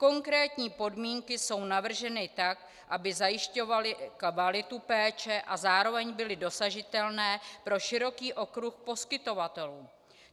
Konkrétní podmínky jsou navrženy tak, aby zajišťovaly kvalitu péče a zároveň byly dosažitelné pro široký okruh poskytovatelů.